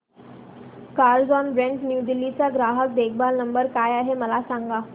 Carzonrent new Delhi चा ग्राहक देखभाल नंबर काय आहे मला सांग